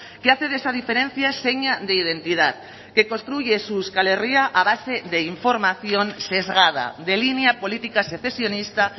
que hace de esa diferencia seña de identidad que construye su euskal herria a base de información sesgada de línea política secesionista